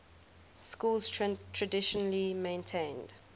schools traditionally maintained